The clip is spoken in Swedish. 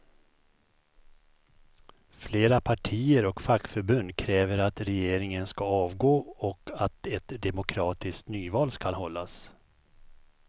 Flera partier och fackförbund kräver att regeringen ska avgå och att ett demokratiskt nyval ska hållas.